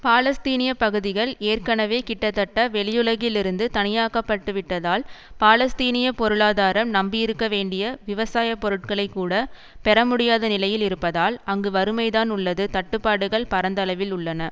பாலஸ்தீனிய பகுதிகள் ஏற்கனவே கிட்டத்தட்ட வெளியுலகில் இருந்து தனியாக்கப்பட்டுவிட்டதால் பாலஸ்தீனிய பொருளாதாரம் நம்பியிருக்க வேண்டிய விவசாய பொருட்களை கூட பெறமுடியாத நிலையில் இருப்பதால் அங்கு வறுமைதான் உள்ளது தட்டுப்பாடுகள் பரந்த அளவில் உள்ளன